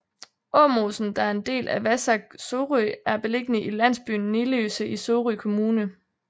Åmosen der er en del af Vasac Sorø er beliggende i landsbyen Niløse i Sorø Kommune